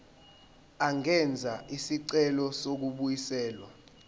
angenza isicelo sokubuyiselwa